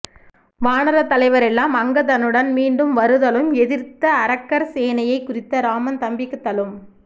வானரத் தலைவரெல்லாம் அங்கதனுடன் மீண்டும் வருதலும் எதிர்த்த அரக்கர் சேனையைக் குறித்து இராமன் தம்பிக்கு த்தலும்